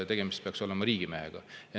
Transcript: Tegemist peaks olema riigimeestega.